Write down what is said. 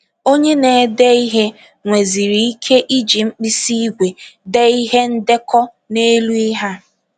Onye na - ede ihe nweziri ike iji mkpịsị ígwè dee ihe ndekọ n’elu ihe a.